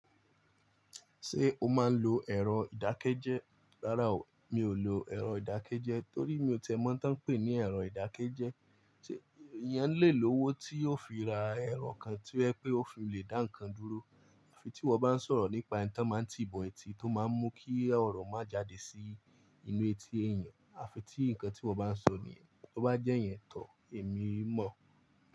Ṣé o máa ń lo ẹ̀rọ ìdákẹ́jẹ́? Rárá o, mi ò lo ẹ̀rọ ìdákẹ́jẹ́ torí mi ò tẹ́ mọ́ n tan ń pè ní ẹ̀rọ ìdákẹ́jẹ́. Sé èèyàn lè lòwó tí yóò fi ra ẹ̀rọ kan tí wọ́n fẹ́ pé ó fi le dá ǹkan dúró. Àfi tí wọ́ bá ń sọ̀rọ̀ nípa ohun tí wọ́n máa ń ti bo etí tó máa ń mú kí ọ̀rọ̀ má jáde sí inú etí èèyàn, àfi tí ǹkan tí wọ́ bá ń sọ nìyẹn, tó bá jẹ́ ìyẹn, tọ̀, èmi mọ̀.